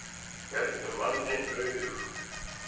Héldu manni nauðugum